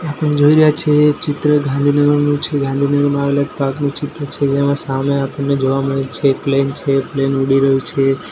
આપણે જોઈ રહ્યા છે ચિત્ર ગાંધીનગરનું છે ગાંધીનગરમાં આવેલા એક પાર્ક નું ચિત્ર છે જેમા સામે આપણને જોવા મળે છે એક પ્લેન છે પ્લેન ઉડી રહ્યુ છે.